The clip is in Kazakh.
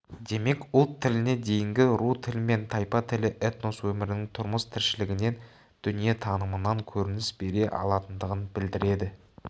демек ұлт тіліне дейінгі ру тілі мен тайпа тілі этнос өмірінің тұрмыс-тіршілігінен дүниетанымынан көрініс бере алатындығын білдіреді